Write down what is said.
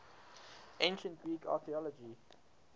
ancient greek archaeological